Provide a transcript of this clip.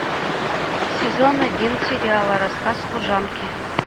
сезон один сериала рассказ служанки